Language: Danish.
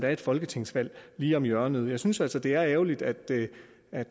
er et folketingsvalg lige om hjørnet jeg synes altså det er ærgerligt at det